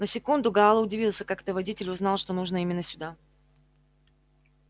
на секунду гаал удивился как это водитель узнал что нужно именно сюда